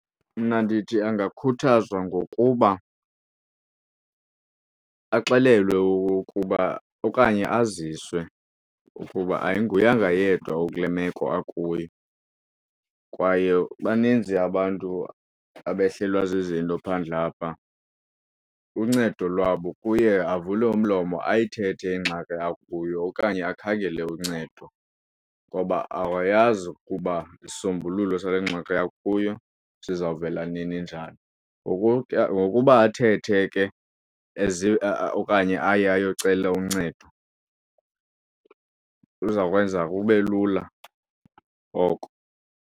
Mna ndithi angakhuthazwa ngokuba axelelwe ukuba okanye aziswe ukuba ayinguyanga yedwa okule meko akuyo kwaye baninzi abantu abehlelwa zizinto phandle apha. Uncedo lwabo kuye avule umlomo ayithethe ingxaki akuyo okanye akhangele uncedo ngoba awayazi ukuba isisombululo sale ngxaki akuyo sizawuvela nini, njani. Ngokuba athethe ke okanye aye ayocela uncedo uza kwenza kube lula oko.